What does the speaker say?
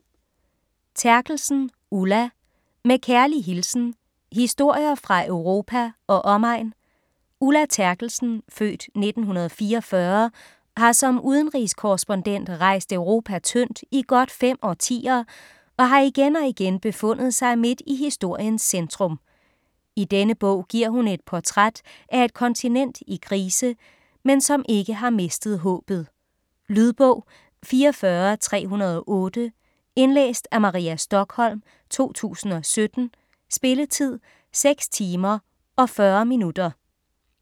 Terkelsen, Ulla: Med kærlig hilsen: historier fra Europa og omegn Ulla Terkelsen (f. 1944) har som udenrigskorrespondent rejst Europa tyndt i godt fem årtier, og har igen og igen befundet sig midt i historiens centrum. I denne bog giver hun et portræt af et kontinent i krise, men som ikke har mistet håbet. Lydbog 44308 Indlæst af Maria Stokholm, 2017. Spilletid: 6 timer, 40 minutter.